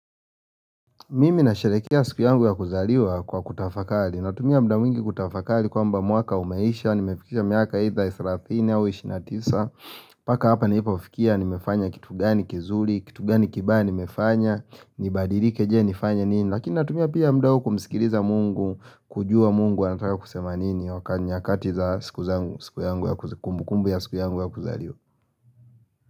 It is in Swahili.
Mimi nasherehekea siku yangu ya kuzaliwa kwa kutafakari Natumia muda mingi kutafakari kwamba mwaka umeisha Nimefikisha mwaka either thelathini au ishirini na tisa mpaka hapa nilipofikia nimefanya kitu gani kizuri Kitu gani kibaya nimefanya Nibadilike je nifanye nini Lakini natumia pia muda kumsikiliza mungu kujua mungu anataka kusema nini waka, nyakati za siku zangu, siku yangu ya, kumbu kumbu ya siku yangu ya kuzaliwa.